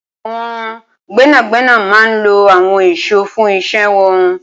Awọn gbẹnágbẹná mà n ló awọn iṣó fùn iṣè wọn